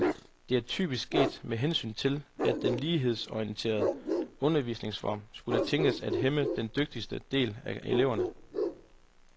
Det er typisk sket med henvisning til, at den lighedsorienterede undervisningsform kunne tænkes at hæmme den dygtigste del af eleverne.